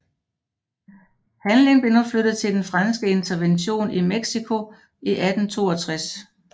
Handlingen blev nu flyttet til den franske intervention i Mexico i 1862